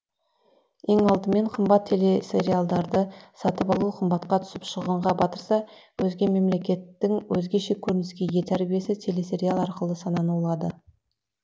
ең алдымен қымбат телесериалдарды сатып алу қымбатқа түсіп шығынға батырса өзге мемлекеттің өзгеше көрініске ие тәрбиесі телесериал арқылы сананы улады